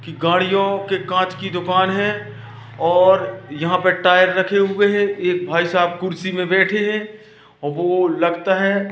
की गाड़ियों की कांच की दुकान हैं और यहां पे टायर रखे हुए हैं एक भाई साहब कुर्सी में बैठे हैं वो लगता है।